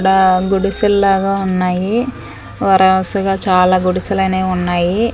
ఈడ గుడిసెల్లాగా ఉన్నాయి వరౌసగా చాలా గుడిసెలనేవి ఉన్నాయి.